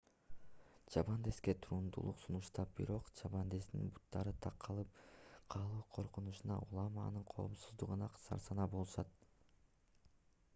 чабандеске туруктуулук сунуштап бирок чабандестин буттары такалып калуу коркунучунан улам анын коопсуздугунан сарсанаа болушат